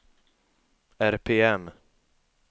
RPM